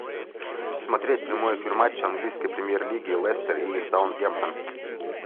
смотреть прямой эфир матча английской премьер лиги лестер и саутгемптон